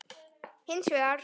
Hins vegar